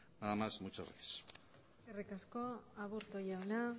nada más muchas gracias eskerrik asko aburto jauna